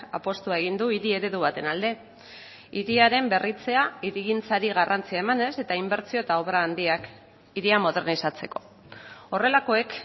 apustua egin du hiri eredu baten alde hiriaren berritzea hirigintzari garrantzia emanez eta inbertsio eta obra handiak hiria modernizatzeko horrelakoek